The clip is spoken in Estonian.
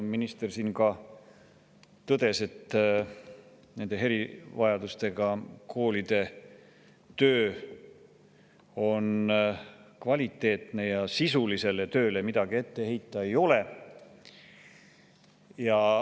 Minister siin ka tõdes, et nende erivajadustega koolide töö on kvaliteetne ja sisulisele tööle midagi ette heita ei ole.